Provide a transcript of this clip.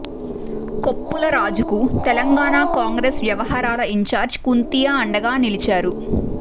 కొప్పుల రాజుకు తెలంగాణ కాంగ్రెస్ వ్యవహరాల ఇంచార్జీ కుంతియా అండగా నిలిచారు